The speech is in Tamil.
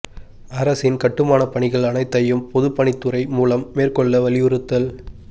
அரசின் கட்டுமானப் பணிகள் அனைத்தையும் பொதுப் பணித் துறை மூலம் மேற்கொள்ள வலியுறுத்தல்